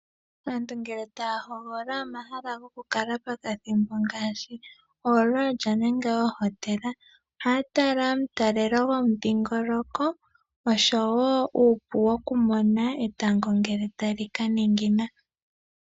Aantu ngele taa hogolola omahala gokukala pokathimbo ngaashi oololya nenge oohotela ohaya tala omutalelo gomudhingoloko oshowo uupu wokumona etango ngele tali ka ningina.